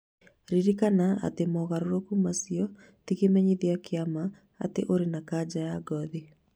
Ririkana atĩ mogarũrũku macio ti kĩmenyithia kĩa ma atĩ ũrĩ na kanja ya ngothi.